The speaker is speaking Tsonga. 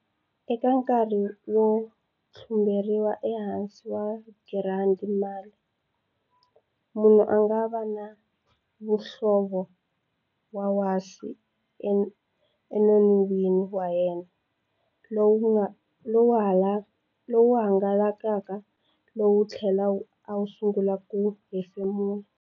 Eka nkarhi wo tlumberiwa ehansi wa girandi male, munhu a nga va ni muhlovo wa wasi enon'wini wa yena, lowu hangalakaka lowu tlhela a sungula ku hefemula.